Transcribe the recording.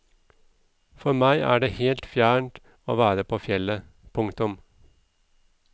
For meg er det helt fjernt å være på fjellet. punktum